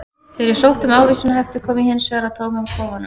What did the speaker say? Þegar ég sótti um ávísanahefti kom ég hins vegar að tómum kofanum.